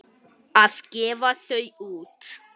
Að gefa þau út!